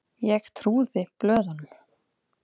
Ég trúði blöðunum.